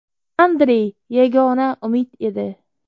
Andrey yagona umid edi.